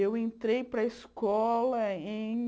Eu entrei para a escola em